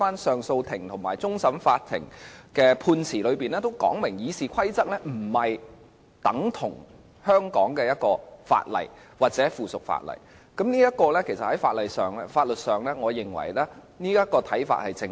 上訴法庭及終審法院的判詞清楚說明《議事規則》不等同香港的法例或附屬法例，我認為這種看法在法律上是正確的。